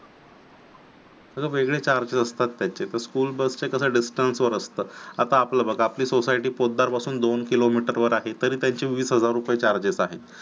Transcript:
त्याचे वेगळे charges असतात त्याचे आता आपलं बघा आपली सोसायटी पोतदार पासून दोन किलोमीटरवर आहे तरी त्याची वीस हजार रुपये charges आहेत.